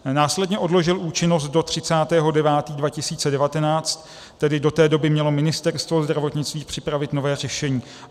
Následně odložil účinnost do 30. 9. 2019, tedy do té doby mělo Ministerstvo zdravotnictví připravit nové řešení.